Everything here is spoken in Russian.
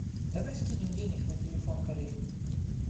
давай скинем денег на телефон коллеге